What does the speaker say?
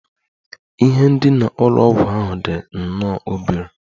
Ihe ndina ụlọ ọgwụ ahụ dị nnọọ obere